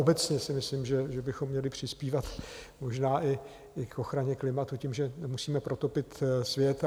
Obecně si myslím, že bychom měli přispívat možná i k ochraně klimatu tím, že nemusíme protopit svět.